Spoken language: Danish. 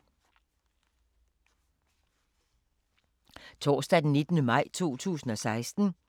Torsdag d. 19. maj 2016